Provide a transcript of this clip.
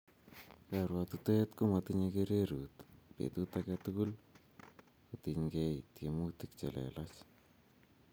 Karuotitoet ko matinyei kererut, petut age tugul ko tingei tiemutik chelelach